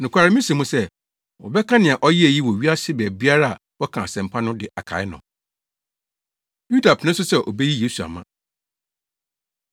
Nokware, mise mo sɛ, wɔbɛka nea ɔyɛe yi wɔ wiase baabiara a wɔka asɛmpa no de akae no.” Yuda Pene So Sɛ Obeyi Yesu Ama